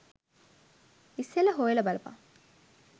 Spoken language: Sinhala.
ඉස්සෙල්ල හොයල බලපන්